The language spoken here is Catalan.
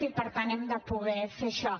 i per tant hem de poder fer això